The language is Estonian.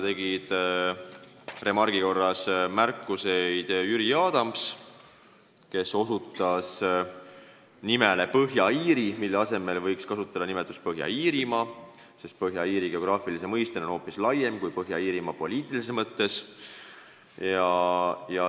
Remargi korras tegi märkuse Jüri Adams, kes osutas nimele Põhja-Iiri, mille asemel võiks kasutada nimetust Põhja-Iirimaa, sest Põhja-Iiri on geograafilise mõistena hoopis laiem kui Põhja-Iirimaa poliitilises mõttes.